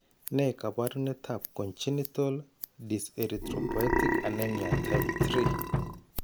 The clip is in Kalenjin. Ne kaabarunetap Congenital dyserythropoietic anemia type 3?